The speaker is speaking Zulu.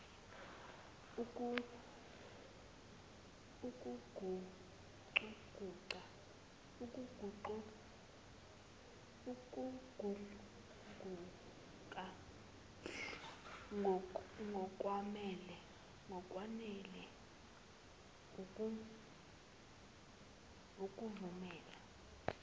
ukuguquguka ngokwanele ukuvumela